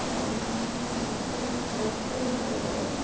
पानी हैं और ये घास दिख रहे हैं बड़े-बड़े--